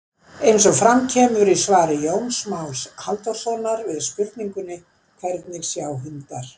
Eins og fram kemur í svari Jóns Más Halldórssonar við spurningunni Hvernig sjá hundar?